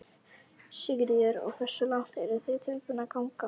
Sigríður: Og hversu langt eru þið tilbúnir að ganga?